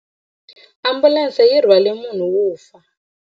Ambulense yi rhwarile munhu wo fa.